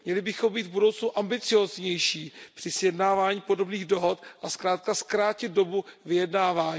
Měli bychom být v budoucnu ambicióznější při sjednávání podobných dohod a zkrátka zkrátit dobu vyjednávání.